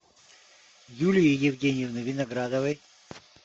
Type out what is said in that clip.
юлии евгеньевны виноградовой